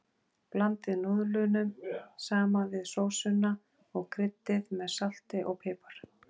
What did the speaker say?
Blandið núðlunum saman við sósuna og kryddið með salti og pipar.